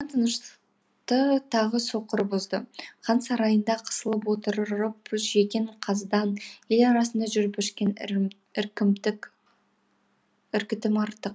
тыныштықты тағы соқыр бұзды хан сарайында қысылып отырып жеген қазыдан ел арасында жүріп ішкен іркітім артық